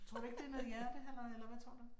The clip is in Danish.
Tror du ikke det noget hjertehalløj eller hvad tror du?